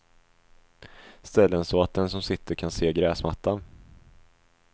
Ställ den så att den som sitter kan se gräsmattan.